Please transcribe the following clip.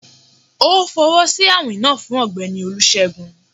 O fọwọsi awin naa fun Ọgbẹni olusegun